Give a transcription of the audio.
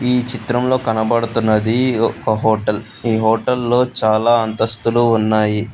ఈ చిత్రంలో కనబడుతున్నది హోటల్ ఏ హోటల్ లో చాలా అంతస్తులు ఉన్నాయి.